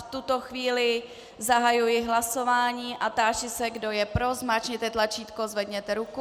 V tuto chvíli zahajuji hlasování a táži se, kdo je pro, zmáčkněte tlačítko, zvedněte ruku.